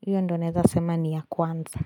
hiyo ndio naeza sema ni ya kwanza.